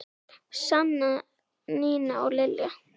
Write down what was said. Sanna, Nína og Lilja.